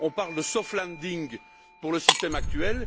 On parle de soft landing pour le système actuel.